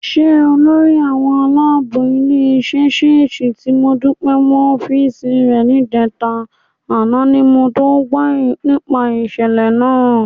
Ṣe lolórí àwọn aláàbò ilé-iṣẹ́ ṣèṣì ti Modúpẹ́ mọ́ ọ́fíìsì rẹ níjẹta, àná ni mo tó gbọ́ nípa ìṣẹ̀lẹ̀ náà.